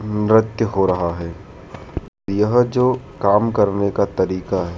नृत्य हो रहा है यह जो काम करने का तरीका है।